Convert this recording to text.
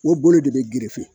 O bolo de bɛ gerefe